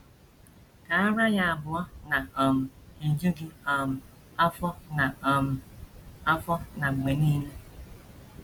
“ Ka ara ya abụọ na - um eju gị um afọ na um afọ na mgbe nile. ”